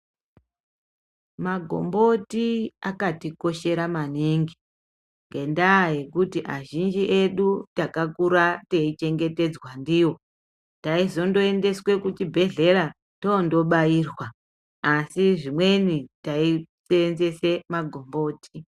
Ma gomboti akati koshera maningi ngenda yekuti azhinji edu taka kura teyi chengetedzwa ndiwo taizondo endeswe ku chibhedhlera tondo bairwa asi zvimweni tai senzese ma gomboti.